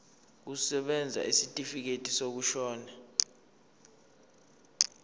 kusebenza isitifikedi sokushona